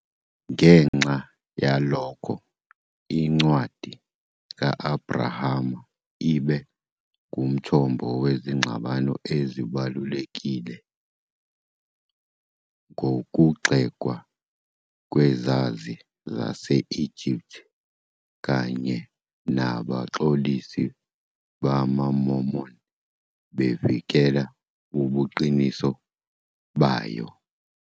Ngenxa yalokho, iNcwadi ka-Abrahama ibe ngumthombo wezingxabano ezibalulekile, ngokugxekwa kwezazi zase-Egypt kanye nabaxolisi bamaMormon bevikela ubuqiniso bayo.